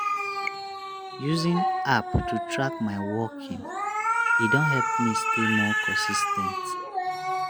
using app to track my walking e don help me stay more consis ten t.